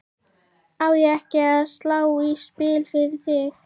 Á ég ekki að slá í spil fyrir þig?